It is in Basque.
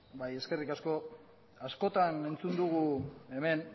bai eskerrik asko askotan entzun dugu hemen